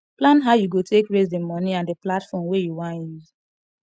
plan how you go take raise the money and the platform wey you wan use